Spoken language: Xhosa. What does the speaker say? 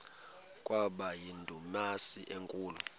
kwaba yindumasi enkulu